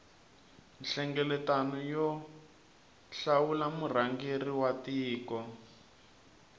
nhlengeletano yo hlawula murhangeri wa tiko